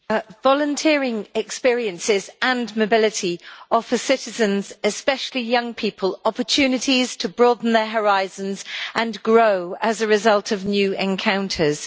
Mr President, volunteering experiences and mobility offer citizens, especially young people, opportunities to broaden their horizons and grow as a result of new encounters.